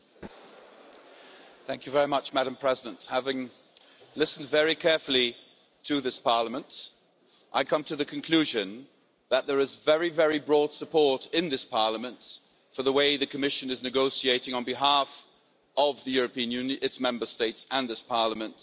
Madam President, having listened very carefully to the speakers, I come to the conclusion that there is very broad support in this Parliament for the way the Commission is negotiating on behalf of the European Union, its Member States and this Parliament to try and reach